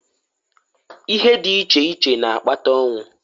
Ihe di iche iche n'akpata onwu.